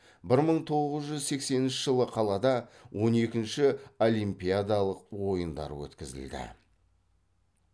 бір мың тоғыз жүз сексенінші жылы қалада он екінші олимпиадалық ойындар өткізілді